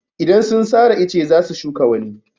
Idan sun sare ice za su shuka wani.